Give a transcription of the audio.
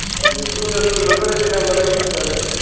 ਵਧੀਆ ਤੂੰ ਤਾਂ ਫੂਨ ਬੜੇ ਦਿਨਾਂ ਬਾਅਦ ਕੀਤਾ ਏ।